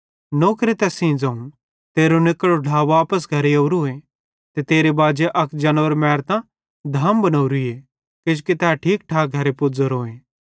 नौरे तैस सेइं ज़ोवं तेरो निकड़ो ढ्ला वापस घरे ओरोए ते तेरे बाजे अक जानवर मैरतां धाम बनोरीए किजोकि तै ठीक ठाक घरे पुज़ोरोए